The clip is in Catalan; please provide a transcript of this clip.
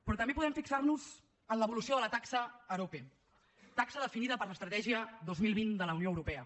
però també podem fixar nos en l’evolució de la taxa arope taxa definida per l’estratègia dos mil vint de la unió europea